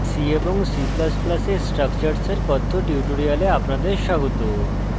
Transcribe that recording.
c এবং c ++ এ structures এর কথ্য tutorial আপনাদের স্বাগত